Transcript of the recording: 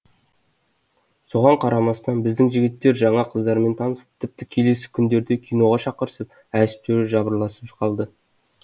соған қарамастан біздің жігіттер жаңа қыздармен танысып тіпті келесі күндерде киноға шақырысып әжептәуір жапырласып қалды